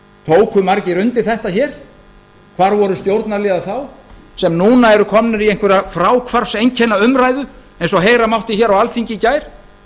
tóku margir undir þetta hér hvar voru stjórnarliðar þá sem núna eru komnir í einhverja fráhvarfseinkennaumræðu eins og heyra mátti hér á alþingi í gær